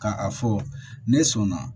Ka a fɔ ne sɔnna